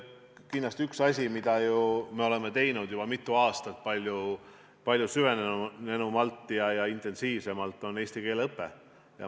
Kindlasti üks asju, mida me ju oleme teinud juba mitu aastat palju süvenenumalt ja intensiivsemalt, on eesti keele õpe.